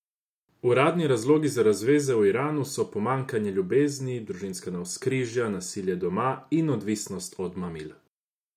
Uradni razlogi za razveze v Iranu so pomanjkanje ljubezni, družinska navzkrižja, nasilje doma in odvisnost od mamil.